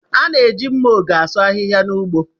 A na-eji mma ogẹ̀ asụ ahihia n'ugbo.